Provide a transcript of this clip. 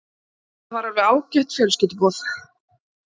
Þetta var fjölskylduboð, alveg ágætt.